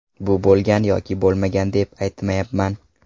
Bu bo‘lgan yoki bo‘lmagan deb aytmayapman.